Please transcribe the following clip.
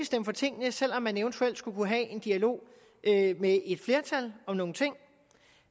stemme for tingene selv om man eventuelt skulle kunne have en dialog med et flertal om nogle ting